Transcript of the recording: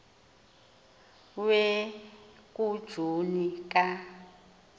we kujuni ka